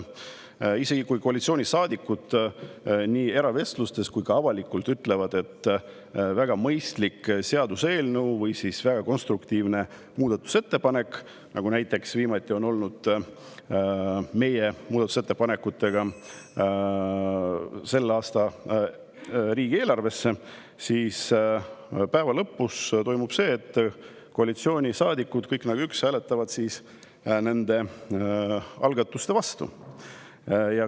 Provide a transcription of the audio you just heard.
Isegi kui koalitsioonisaadikud nii eravestlustes kui ka avalikult ütlevad, et väga mõistlik seaduseelnõu või väga konstruktiivne muudatusettepanek – viimati oli nii näiteks meie muudatusettepanekutega selle aasta riigieelarve kohta –, siis päeva lõpus toimub see, et koalitsioonisaadikud kõik nagu üks hääletavad nende algatuste vastu.